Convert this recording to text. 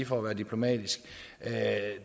for at være diplomatisk er